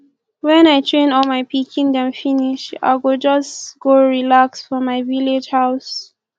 wen i train all my pikin dem finish i go just go relax for my village house